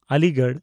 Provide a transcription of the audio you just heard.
Aligarh